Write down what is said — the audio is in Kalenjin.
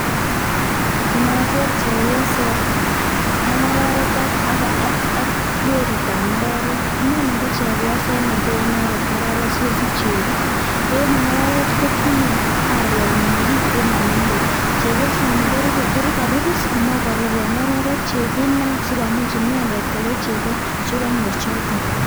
Nogeer chepyoset ak ngorerek ak weritab ngorerik, inoni ko chepyoset nekee inenet ngorerek sikosich chego. Ak ingororiet kotinye arwenyin nekiit ak nelel. Chepyosani ko ka ripis sikomech korepe ngororiet kinaik sikomuch inendet kokei chego che kaimuch konyor.